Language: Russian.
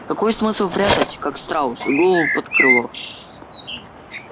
какой смысл прятать как страус голову под крыло